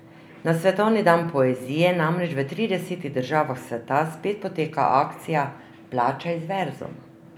Na svetovni dan poezije namreč v tridesetih državah sveta spet poteka akcija Plačaj z verzom.